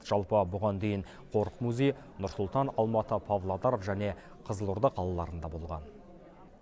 жалпы бұған дейін қорық музей нұр сұлтан алматы павлодар және қызылорда қалаларында болған